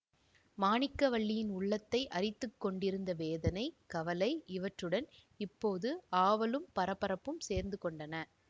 மாணிக்கவல்லியின் உள்ளத்தை அரித்துக் கொண்டிருந்த வேதனை கவலை இவற்றுடன் இப்போது ஆவலும் பரபரப்பும் சேர்ந்து கொண்டன